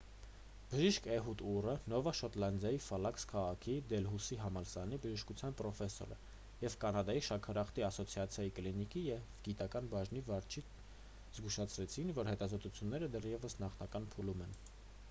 բժիշկ էհուդ ուրը նովա շոտլանդիայի հալիֆաքս քաղաքի դելհուսի համալսարանի բժշկության պրոֆեսոր և կանադայի շաքարախտի ասոցիացիայի կլինիկական և գիտական բաժնի վարիչը զգուշացրեցին որ հետազոտությունները դեռևս նախնական փուլում են